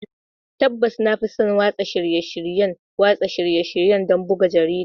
Tabbas, na fi son watsa shirye-shiryen watsa shirye-shirye don buga jarida.